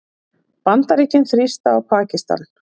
Bandaríkin þrýsta á Pakistan